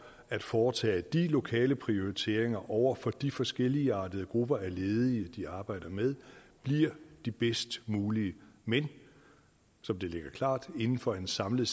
at foretage lokale prioriteringer over for de forskelligartede grupper af ledige de arbejder med bliver de bedst mulige men det ligger klart inden for en samlet